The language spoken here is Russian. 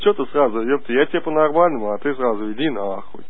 что ты сразу ёб ты я тебе по-нормальному а ты сразу иди нахуй